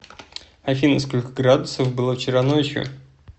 афина сколько градусов было вчера ночью